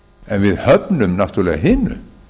en við höfnum náttúrlega hinu